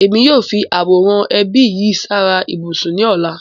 Émi yóò fi aworan ẹbi sí yara-íbusun ni ọla.